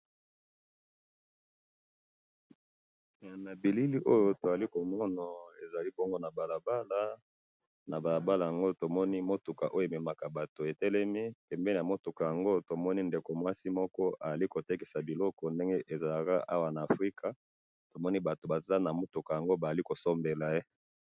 na bilili oyo tozali komona, ezali bongo na balabala, na balabala yango tomoni mutuka oyo ememaka batu etelemi, pembeni ya mutuka yango, tomoni ndeko muasi moko azali kotekesa biloko ndenge ezalaka awa na Africa, tomoni batu baza na mutuka yango bazali kosombela ye